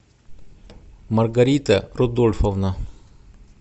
маргарита рудольфовна